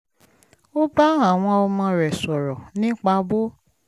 ó bá àwọn ọmọ rẹ̀ sọ̀rọ̀ nípa bó